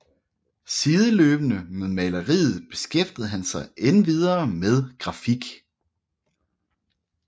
Sideløbende med maleriet beskæftigede han sig endvidere med grafik